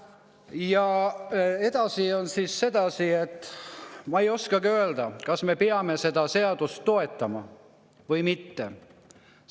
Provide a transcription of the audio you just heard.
Ja edasi on sedasi, et ma ei oskagi öelda, kas me peame seda seadust toetama või mitte.